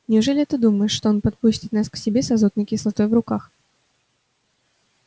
неужели ты думаешь что он подпустит нас к себе с азотной кислотой в руках